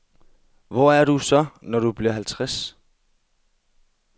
Hvor er du så, når du bliver halvtreds?